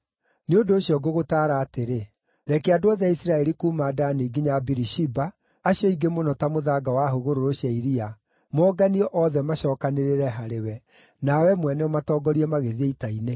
“Nĩ ũndũ ũcio ngũgũtaara atĩrĩ: Reke andũ othe a Isiraeli kuuma Dani nginya Birishiba, acio aingĩ mũno ta mũthanga wa hũgũrũrũ cia iria, moonganio othe macookanĩrĩre harĩwe, na wee mwene ũmatongorie magĩthiĩ ita-inĩ.